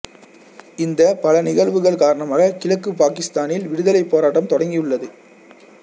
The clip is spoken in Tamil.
இந்த பல நிகழ்வுகள் காரணமாக கிழக்குப் பாகிஸ்தானில் விடுதலை போராட்டம் தொடங்கியுள்ளது